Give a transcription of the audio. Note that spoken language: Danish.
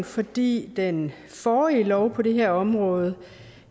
fordi den forrige lov på det her område